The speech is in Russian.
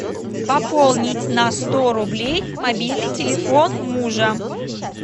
пополнить на сто рублей мобильный телефон мужа